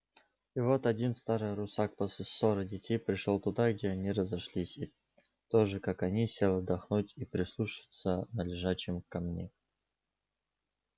и вот один старый русак после ссоры детей пришёл туда где они разошлись и тоже как они сел отдохнуть и прислушаться на лежачем камне